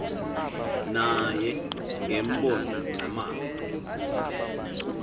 naye ngeembono namava